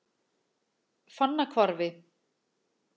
Fannahvarfi